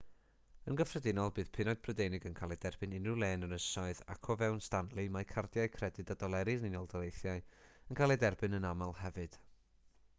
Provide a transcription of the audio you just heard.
yn gyffredinol bydd punnoedd prydeinig yn cael eu derbyn unrhyw le yn yr ynysoedd ac o fewn stanley mae cardiau credyd a doleri'r unol daleithiau yn cael eu derbyn yn aml hefyd